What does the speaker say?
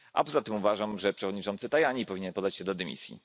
A poza tym uważam, że przewodniczący Tajani powinien podać się do dymisji.